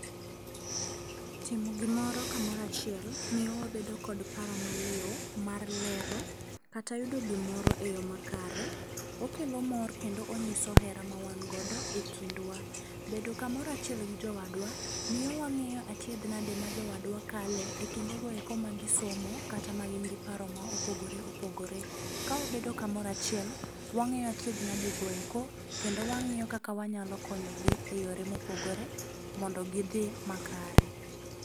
Timo gimoro kamoro achiel, miyo wabedo gi paro maliw, mar lero kata yudo gimoro e yo makare. Okelo mor kendo onyiso hera mawangodo e kindwa. Bedo kamoro achiel gi jowadwa, miyo wang'eyo achiedhnade ma jowadwa kale e kindogoeko ma gisomo kata ma gin gi paro ma opogore opogore. Kawabedo kamoro achiel, wang'eyo achiednadegoeko kendo wang'iyo kaka wanyalo konyogi e yore mopogore mondo gidhi makare.